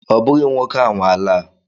Ọ bụghị nwoke a nwe ala a.